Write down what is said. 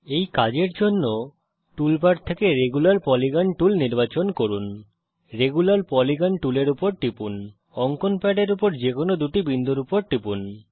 এই কাজের জন্য টুল বার থেকে রেগুলার পলিগন টুল নির্বাচন করুন রেগুলার পলিগন টুলের উপর টিপুন অঙ্কন প্যাডের উপর যে কোনো দুটি বিন্দুর উপর টিপুন